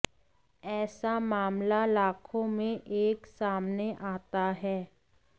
ऐसा मामला लाखों में एक सामने आता है